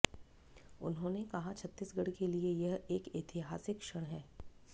उन्होंने कहा छत्तीसगढ़ के लिए यह एक ऐतिहासिक क्षण है